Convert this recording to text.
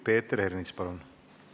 Peeter Ernits, palun!